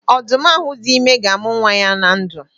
Odu m ahu di ime ga-amu nwa ya na ndu.